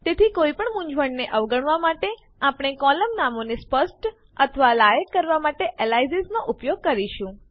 તેથી કોઈપણ મૂંઝવણને અવગણવા માટે આપણે કોલમ નામોને સ્પષ્ટ અથવા લાયક કરવાં એલયાસીઝનો ઉપયોગ કરીશું